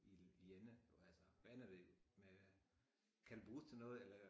I i ende altså hvad ender det med kan det bruges til noget eller